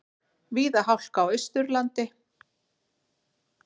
Víða hálka á Austurlandi